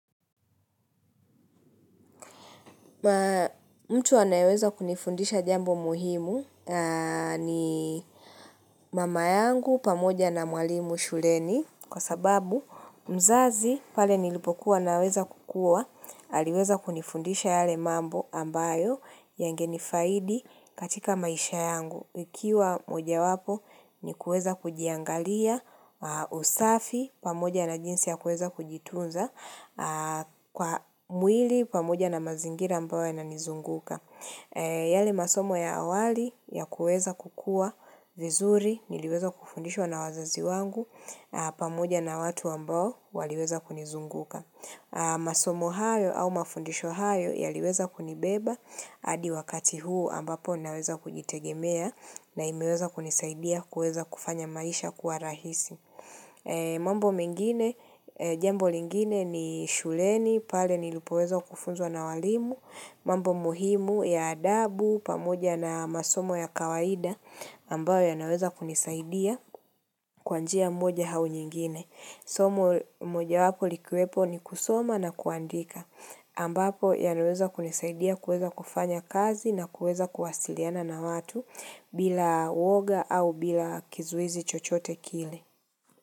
Mtu wanayeweza kunifundisha jambo muhimu ni mama yangu pamoja na mwalimu shuleni kwa sababu mzazi pale nilipokuwa naweza kukua aliweza kunifundisha yale mambo ambayo yangenifaidi katika maisha yangu. Ikiwa mojawapo ni kueza kujiangalia usafi pamoja na jinsi ya kueza kujitunza kwa mwili pamoja na mazingira ambayo yananizunguka. Yale masomo ya awali ya kueza kukua vizuri niliweza kufundishwa na wazazi wangu pamoja na watu ambao waliweza kunizunguka. Masomo hayo au mafundisho hayo yaliweza kunibeba hAdi wakati huu ambapo naweza kujitegemea na imeweza kunisaidia kuweza kufanya maisha kuwa rahisi mambo mengine, jambo lingine ni shuleni pale nilipoweza kufunzwa na walimu mambo muhimu ya adabu pamoja na masomo ya kawaida aMbayo yanaweza kunisaidia kwa njia mmoja au nyingine Somo mojawapo likiwepo ni kusoma na kuandika. Ambapo yanaweza kunisaidia kuweza kufanya kazi na kuweza kuwasiliana na watu bila woga au bila kizuizi chochote kile.